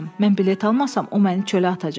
Mən bilet almasam, o məni çölə atacaq.